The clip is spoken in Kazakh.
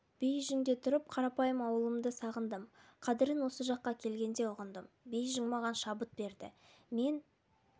бейжіңде тұрып қарапайым ауылымды сағындым қадірін осы жаққа келгенде ұғындым бейжің маған шабыт берді мен